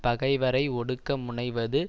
பகைவரை ஒடுக்க முனைவது